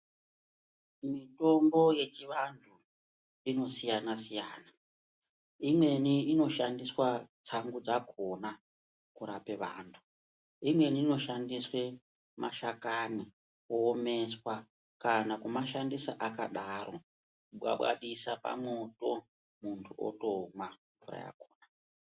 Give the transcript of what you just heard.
Mitombo yechivantu inosiyana -siyana, imweni inoshandiswa tisangoti dzakhona kurape vantu. Imweni inoshandiswe mashakani kuomeswa kana kana kumashandisa akadaro, bwabwanisa pamwoto muntu otomwa mvura yakhona.